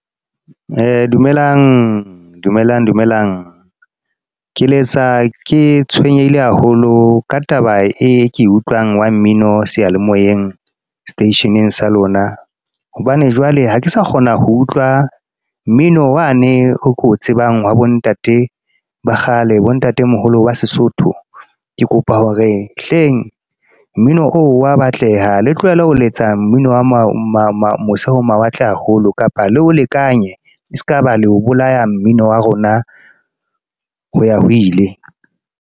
Dumelang, dumelang, dumelang. Ke letsa ke tshwenyehile haholo ka taba e ke utlwang wa mmino seyalemoyeng, station-eng sa lona. Hobane jwale ha ke sa kgona ho utlwa mmino wane oo ko tsebang wa bo ntate ba kgale bo ntatemoholo wa Sesotho. Ke kopa hore hleng, mmino oo wa batleha. Le tlohele ho letsa mmino wa ma mose ho mawatle haholo. Kapa le o lekanya e sekaba le ho bolaya mmino wa rona ho ya ho ile.